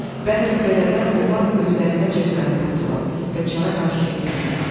Bəlkə belə də onlar özlərində cəsarət tapdılar və çara qarşı etiraza qalxdılar.